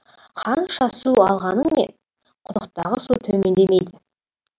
қанша су алғаныңмен құдықтағы су төмендемейді